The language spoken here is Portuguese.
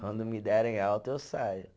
Quando me derem alta eu saio.